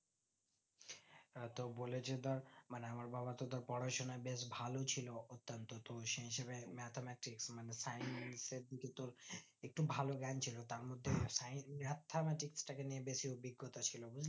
হ্যাঁ তো বলেছে ধর মানে আমার বাবাতো ধরে পড়াশোনায় বেশ ভালোই ছিল অত্যান্ত তো দেয় হিসাবে mathematics মানে science এর দিকে তোর একটু ভালো জ্ঞান ছিল তার মধ্যে science mathematics টাকে নিয়ে একটু বেশি অভিজ্ঞতা ছিল বুজলি